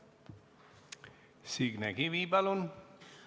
Signe Kivi, palun!